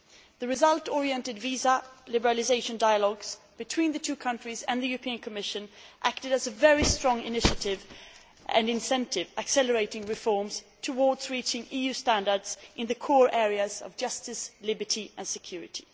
The result oriented visa liberalisation dialogues between the two countries and the European Commission acted as a very strong initiative and incentive, accelerating reforms towards reaching EU standards in the core areas of justice, liberty and security.